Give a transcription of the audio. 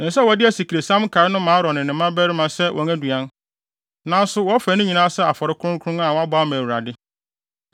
Ɛsɛ sɛ wɔde asikresiam nkae no ma Aaron ne ne mmabarima sɛ wɔn aduan; nanso wɔfa ne nyinaa sɛ afɔre kronkron a wɔabɔ ama Awurade.